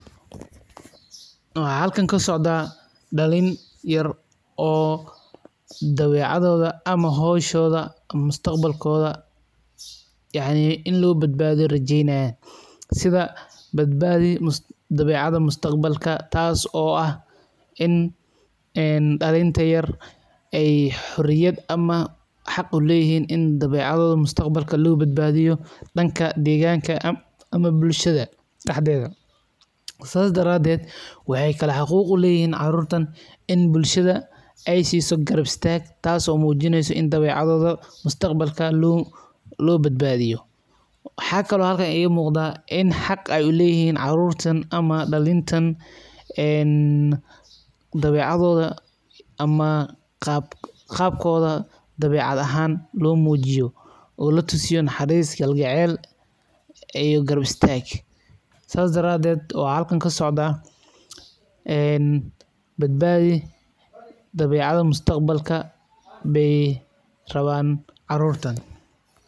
Waxa halkan kasocda, dalin yar oo dawecadoda ama xowshoda, mustaqbalkoda, yacni in lobadbadiyo rajeynaya, sidha badbadi dawecada mustaqbalka, taas oo ah in een dalinta yar ay xoriyat ama xaaq uleyini ini dawecadoda mustaqbalka lobadbadiyo, danka degaanka ama bulshada daxdeda, sas daraded, waxa kale xaquq ulehixin, in carurtan in bulshada ay siso garab istag, taaso mujineyso in dawecadoda mustaqbalka lobadbadiyo, waxa kalo xalka iga mugda in xaaq ay uleyixin carurtan ama dalintan, een dawecadoda ama qaabkoda dawecad ahan lomujiyo oo latusiyo naxariis, kalgacel iyo garab istag, sas daraded waxa xalkan kasocda, een badbadi dawecado mustaqbalka bey rawan carurtan.